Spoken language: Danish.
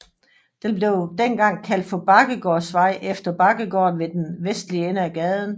Den blev dengang kaldt for Bakkegårdsvej efter Bakkegården ved den vestlige ende af gaden